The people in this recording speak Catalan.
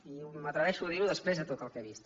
i m’atreveixo a dir ho després de tot el que he vist